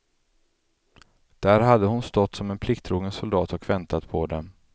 Där hade hon stått som en plikttrogen soldat och väntat på dem.